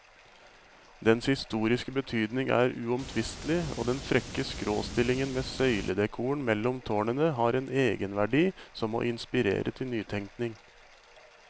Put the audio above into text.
Dens historiske betydning er uomtvistelig, og den frekke skråstillingen med søyledekoren mellom tårnene har en egenverdi som må inspirere til nytenkning.